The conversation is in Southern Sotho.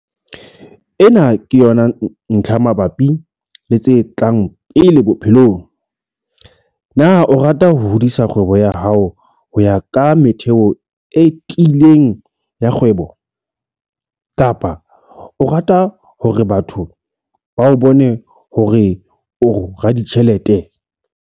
Ena ke yona ntlha mabapi le tse tlang pele bophelong - Na o rata ho hodisa kgwebo ya hao ho ya ka metheo e tiileng ya kgwebo, kapa o rata hore batho ba o bone hore o raditjhelete?